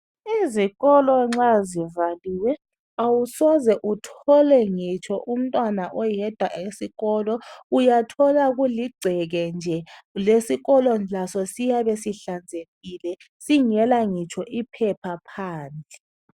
Izikolo nxa zivaliwe awusoze uthole ngitsho umntwana oyedwa esikolo . Uyathola kuligceke nje. Lesikolo laso siyabe sihlanzekile singela ngitsho iphepha phansi.